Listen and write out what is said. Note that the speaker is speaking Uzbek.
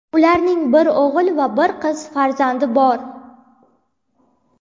Ularning bir o‘g‘il va bir qiz farzandi bor.